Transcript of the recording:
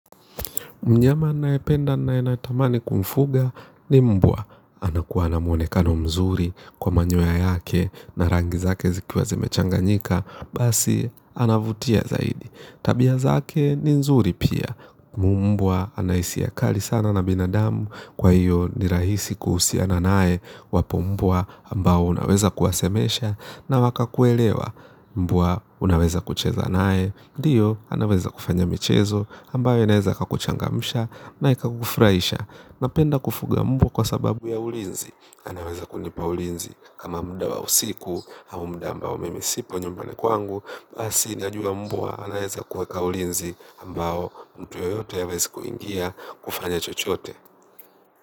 Mnyama nayependa na nayenatamani kumfuga ni mbwa. Anakuwa na mwonekano mzuri kwa manyoya yake na rangi zake zikiwa zimechanga nyika. Basi anavutia zaidi. Tabia zake ni mzuri pia. Mbwa anaisia kali sana na binadamu kwa hiyo ni rahisi kuhusiana naye wapombwa ambao unaweza kuwasemesha. Na waka kuelewa mbwa unaweza kucheza naye. Ndiyo, anaweza kufanya michezo, ambayo inaweza kakuchangamsha na ikakufuraisha. Napenda kufuga mbwa kwa sababu ya ulinzi. Naweza kunipa ulinzi kama mda wa usiku au mda ambao mimisipo nyumbani kwangu. Basi, najua mbwa, anaweza kuweka ulinzi ambao mtu yoyote ha wezi kuingia kufanya chochote.